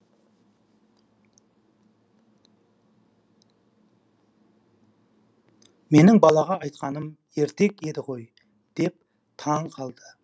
менің балаға айтқаным ертек еді ғой деп таң қалды